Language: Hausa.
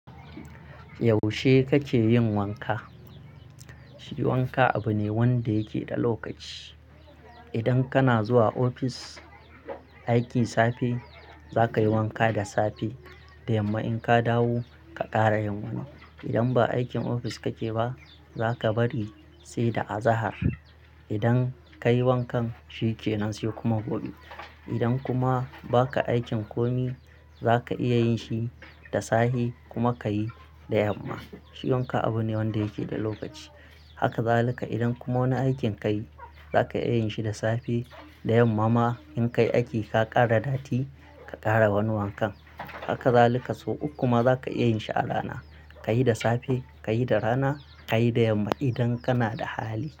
Yaushe kake yin wanka? Shi wanka abu ne wanda yake da lokaci. Idan kana zuwa ofis aiki safe, zaka yi wanka da safe da yamma in ka dawo ka ƙara yin wani. Idan ba aikin ofis kake ba zaka bari sai da azahar. Idan ka yi wankan shi yake nan sai kuma gobe. Idan kuma baka aikin komai, zaka iya yin shi da safe kuma ka yi da yamma. Shi wanka abu ne wanda yake da lokaci. Haka zalika idan kuma wani aikin kayi zaka iya yin shi da safe da yamma ma in ka yi aiki ka ƙara datti ka ƙara wani wankan. Haka zalika sau uku kuma zaka iya yin shi a rana. Ka yi da safe, ka yi da rana, ka yi da yamma idan kana da hali.